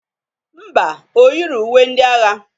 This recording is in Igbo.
Ḿbà, o yiro uwe ndị agha.